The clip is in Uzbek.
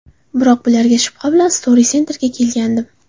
Biroq bularga shubha bilan Stroy Center’ga kelgandim.